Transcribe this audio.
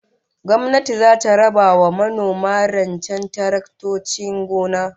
Gwamnati zata raba wa manoma rancen taraktocin gona